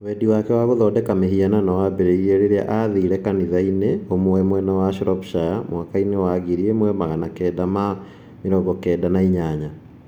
Wendi wake wa gũthondeka mĩhianano waambĩrĩirie rĩrĩa aathire kanitha-inĩ ũmwe mwena wa Shropshire 1998.